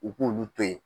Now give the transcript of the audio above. U k'olu to ye